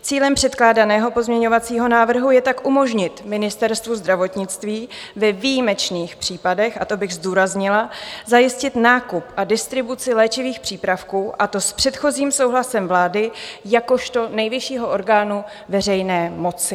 Cílem předkládaného pozměňovacího návrhu je tak umožnit Ministerstvu zdravotnictví ve výjimečných případech - a to bych zdůraznila - zajistit nákup a distribuci léčivých přípravků, a to s předchozím souhlasem vlády jakožto nejvyššího orgánu veřejné moci.